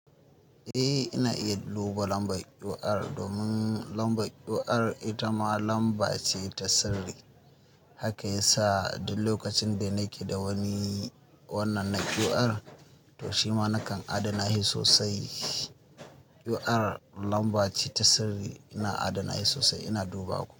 Eh, ina iya duba lambar QR domin lambar QR ita ma lamba ce ta sirri. Haka ya sa duk lokacin da nake da wani wannan na QR, toh shima nakan adana shi sosai. QR lamba ce ta sirri. Ina adana shi sosai, ina duba ku.